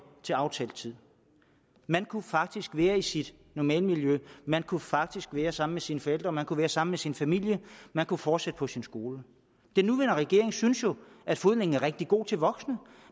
til aftalt tid man kunne faktisk være i sit normale miljø man kunne faktisk være samme sine forældre man kunne være sammen med sin familie man kunne fortsætte på sin skole den nuværende regering synes jo at fodlænken er rigtig god til voksne